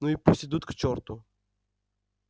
ну и пусть идут к черту